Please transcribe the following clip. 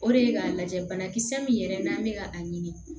O de ye k'a lajɛ banakisɛ min yɛrɛ n'an be ka a ɲini